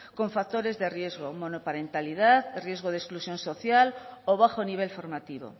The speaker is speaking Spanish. con factores de riesgo monoparentalidad riesgo de exclusión social o bajo nivel formativo